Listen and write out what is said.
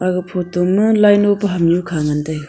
ei photo laino pa hamnu khanu ngale taiya.